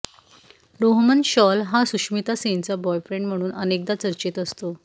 रोहमन शॉल हा सुष्मिता सेनचा बॉयफ्रेंड म्हणून अनेकदा चर्चेत असतो